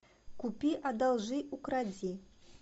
купи одолжи укради